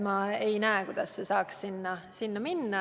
Ma ei näe, kuidas see saaks selle paragrahvi alla minna.